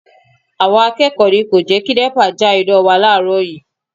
Àwọn akẹ́kọ̀ọ́ ni kò jẹ́ kí Nepa já iná wa láàárọ̀ yii